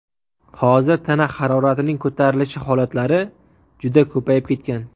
Hozir tana haroratining ko‘tarilishi holatlari juda ko‘payib ketgan.